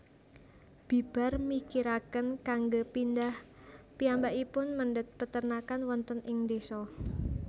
Bibar mikiraken kanggé pindhah piyambakipun mendhet peternakan wonten ing desa